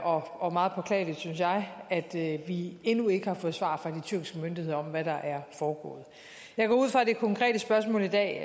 og meget påklageligt synes jeg at vi endnu ikke har fået svar fra de tyrkiske myndigheder om hvad der er foregået jeg går ud fra at det konkrete spørgsmål i dag